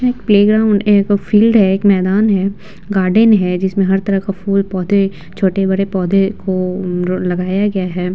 यहाँ एक प्लेग्राउंड यहाँ पे फील्ड है। एक मैदान है गार्डन है। जिसमें हर तरह का फूल पौधे छोटे बड़े पौधे को अ ल लगाया गए है।